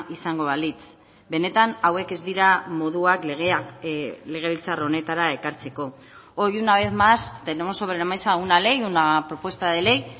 izango balitz benetan hauek ez dira moduak legea legebiltzar honetara ekartzeko hoy una vez más tenemos sobre la mesa una ley una propuesta de ley